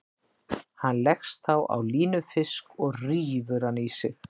Hann leggst þá á línufisk og rífur hann í sig.